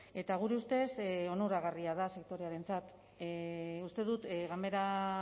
eta gure ustez onuragarria da sektorearentzat uste dut ganbera